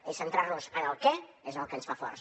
és centrar nos en el què que és el que ens fa forts